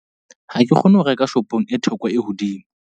Ha ke kgone ho reka shopong e theko e hodimo.